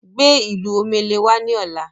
Gbé ìlù omele wá ni ọ̀la!